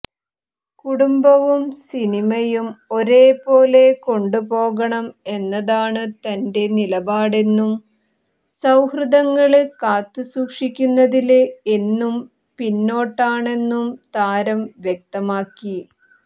കുടുംബവും സിനിമയും ഒരേ പോലെ കൊണ്ടുപോകണം എന്നതാണ് തന്റെ നിലപാടെന്നും സൌഹൃദങ്ങള് കാത്തുസൂക്ഷിക്കുന്നതില് എന്നും പിന്നോട്ടാണെന്നും താരം വ്യക്തമാക്കി